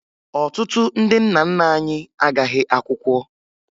Ọtụtụ ndị nna nna anyị agaghị akwụkwọ